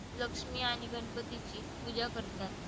लक्ष्मी आणि गणपतीची पूजा करतात.